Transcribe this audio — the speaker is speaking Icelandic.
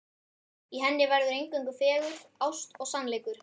Í henni verður eingöngu fegurð, ást og sannleikur.